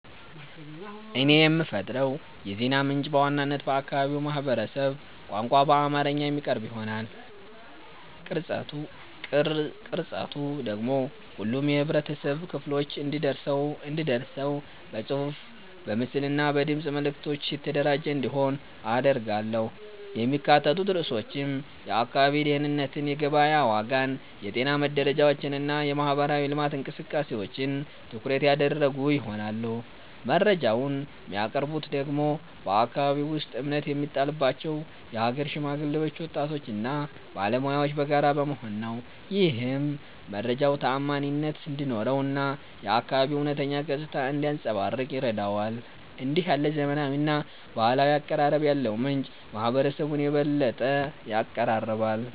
እኔ የምፈጥረው የዜና ምንጭ በዋናነት በአካባቢው ማህበረሰብ ቋንቋ በአማርኛ የሚቀርብ ይሆናል። ቅርጸቱ ደግሞ ሁሉም የህብረተሰብ ክፍሎች እንዲደርሰው በጽሑፍ፣ በምስል እና በድምፅ መልዕክቶች የተደራጀ እንዲሆን አደርጋለሁ። የሚካተቱት ርዕሶችም የአካባቢ ደህንነትን፣ የገበያ ዋጋን፣ የጤና መረጃዎችን እና የማህበራዊ ልማት እንቅስቃሴዎችን ትኩረት ያደረጉ ይሆናሉ። መረጃውን የሚያቀርቡት ደግሞ በአከባቢው ውስጥ እምነት የሚጣልባቸው የሀገር ሽማግሌዎች፣ ወጣቶች እና ባለሙያዎች በጋራ በመሆን ነው። ይህም መረጃው ተዓማኒነት እንዲኖረው እና የአካባቢው እውነተኛ ገጽታ እንዲያንጸባርቅ ይረዳዋል። እንዲህ ያለ ዘመናዊና ባህላዊ አቀራረብ ያለው ምንጭ ማህበረሰቡን የበለጠ ያቀራርባል።